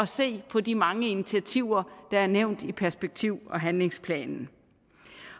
se på de mange initiativer der er nævnt i perspektiv og handlingsplanen